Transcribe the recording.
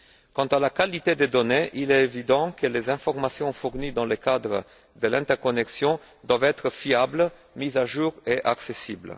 Quant à la qualité des données, il est évident que les informations fournies dans le cadre de l'interconnexion doivent être fiables, mises à jour et accessibles.